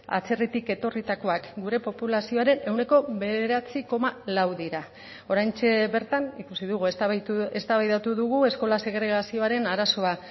atzerritik etorritakoak gure populazioaren ehuneko bederatzi koma lau dira oraintxe bertan ikusi dugu eztabaidatu dugu eskola segregazioaren arazoa